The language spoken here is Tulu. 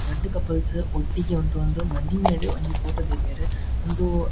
ರಡ್ಡ್ ಕಪಲ್ಸ್ ಒಟ್ಟಿಗೆ ಉಂತೊಂದು ಮದಿಮೆಡ್ ಒಂಜಿ ಫೋಟೊ ದೈದೆರ್ ಇಂದು.